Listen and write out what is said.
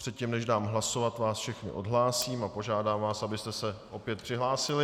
Předtím než dám hlasovat, vás všechny odhlásím a požádám vás, abyste se opět přihlásili.